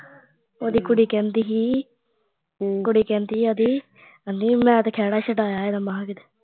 ਉਹਦੀ ਕੁੜੀ ਕਹਿਦੀ ਸੀ ਕੁੜੀ ਕਹਿੰਦੀ ਸੀ ਉਹਦੀ ਕਹਿੰਦੀ ਮੈਂ ਤੇ ਖੇੜਾ ਛਡਾਇਆ ਇਹਦਾ ਮਸ ਕਿਤੇ